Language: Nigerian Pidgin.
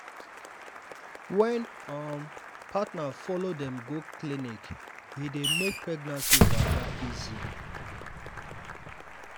wen um partner follow dem go clinic e dey make pregnancy waka easy.